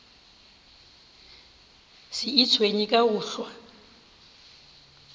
se itshwenye ka go hlwa